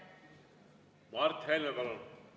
Mart Helme, palun!